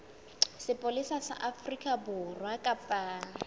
sepolesa sa afrika borwa kapa